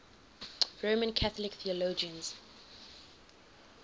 roman catholic theologians